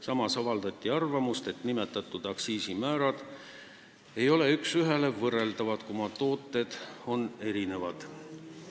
Samas avaldati arvamust, et nimetatud aktsiisimäärad ei ole üks ühele võrreldavad, kuna tooted on erinevad.